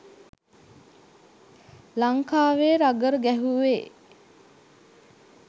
ලංකාවේ රගර් ගැහුවේ